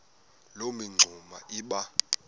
loo mingxuma iba